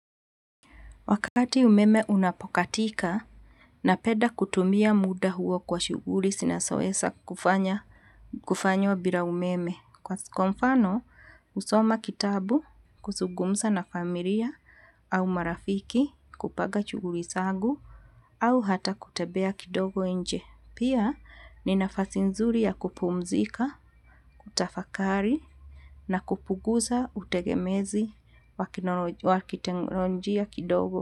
Wakati umeme unapokatika, napeda kutumia muda huo kwa shuguri sinasuesa kufanya wabira umeme. Kwa sikomfano, usoma kitabu, kusugumsa na familia, au marafiki, kupaga shuguri sagu, au hata kutebea kidogo enje. Pia, ninafasi nzuri ya kupumzika, kutafakari, na kupugusa, utegemezi, wakitenonjia kidogo.